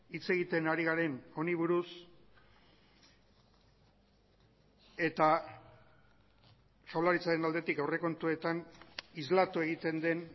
hitz egiten ari garen honi buruz eta jaurlaritzaren aldetik aurrekontuetan islatu egiten den